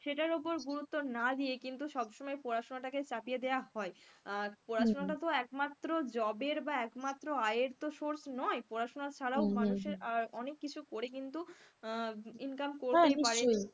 সেটার উপরে গুরুত্ব না দিয়ে কিন্তু সব সময় পড়াশোনাটাকে চাপিয়ে দেওয়া হয়, আর পড়াশোনাটা তো একমাত্র job এর বা একমাত্র আয়ের তো source নয় পড়াশোনা ছাড়াও মানুষের অনেক কিছু করে কিন্তু, আহ Income করতেই পারে